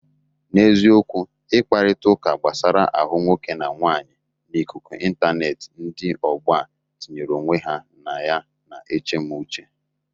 N'eziokwu, ikparịtaụka gbasara ahụ nwoke na nwaanyị n'ikuku ịntaneetị ndị ọgbọ a tinyere onwe ha na ya na-eche mụ uche.